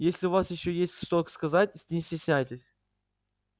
если у вас ещё есть что сказать не стесняйтесь